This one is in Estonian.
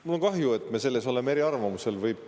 Mul on kahju, et me selles oleme eriarvamusel.